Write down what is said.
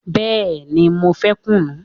Bẹẹni, mo fẹ́ kùnú